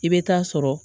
I bɛ taa sɔrɔ